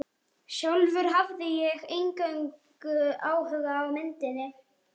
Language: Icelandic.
Sjálf hafði ég eingöngu áhuga á myndinni.